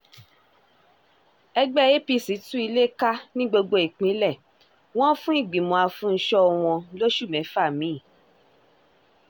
ẹgbẹ́ apc tú ilé ká ní gbogbo ìpínlẹ̀ wọn fún ìgbìmọ̀ afún-ń-sọ wọ́n lóṣù mẹ́fà mi